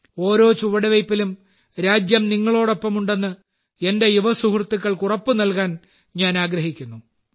ഓരോ ചുവടുവെയ്പിലും രാജ്യം നിങ്ങളോടൊപ്പമുണ്ടെന്ന് എന്റെ യുവസുഹൃത്തുക്കൾക്ക് ഉറപ്പ് നൽകാൻ ഞാൻ ആഗ്രഹിക്കുന്നു